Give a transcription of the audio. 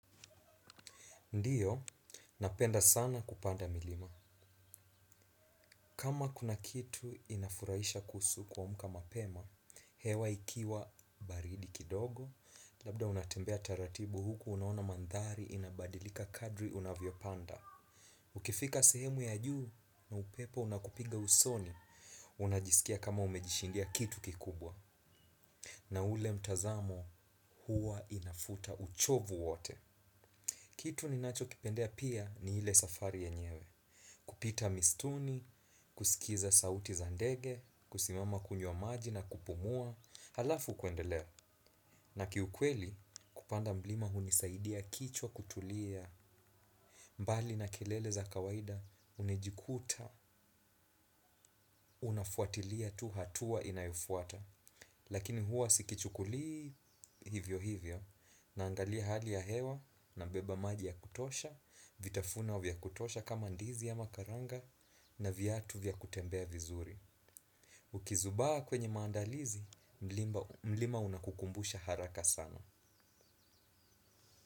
Ndiyo, napenda sana kupanda milima. Kama kuna kitu inafurahisha kuhusu kuamka mapema, hewa ikiwa baridi kidogo, labda unatembea taratibu huku unaona manthari inabadilika kadri unavyopanda. Ukifika sehemu ya juu na upepo unakupiga usoni, unajisikia kama umejishindia kitu kikubwa. Na ule mtazamo huwa inafuta uchovu wote. Kitu ninachokipendea pia ni ile safari yenyewe. Kupita mistuni, kusikiza sauti za ndege, kusimama kunywa maji na kupumua, halafu kuendelea. Na kiukweli kupanda mlima hunisaidia kichwa kutulia mbali na kelele za kawaida unajikuta, unafuatilia tu hatua inayofuata. Lakini huwa sikichukulii hivyo hivyo. Naangalia hali ya hewa nabeba maji ya kutosha. Vitafunwa vya kutosha kama ndizi ama karanga. Na vytatu vya kutembea vizuri. Ukizubaa kwenye maandalizi mlima unakukumbusha haraka sana.